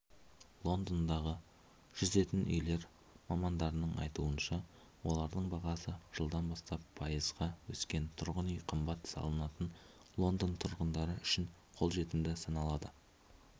лондондағы жүзетін үйлер мамандардың айтуынша олардың бағасы жылдан бастап пайызға өскен тұрғын үй қымбат саналатын лондон тұрғындары үшін қолжетімді саналады